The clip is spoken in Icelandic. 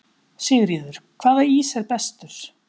Sigríður: Hvaða ís er bestur?